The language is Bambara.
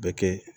Bɛ kɛ